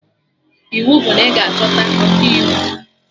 Iwu bụ na ị ga-achọta Ọkaiwu